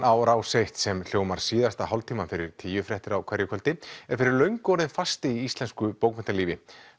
á rás eitt sem hljómar síðasta hálftímann fyrir tíu fréttir á hverju kvöldi er fyrir löngu orðin fasti í íslensku bókmenntalífi